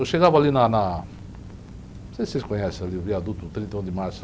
Eu chegava ali na na... Não sei se vocês conhecem ali o viaduto trinta e um de Março.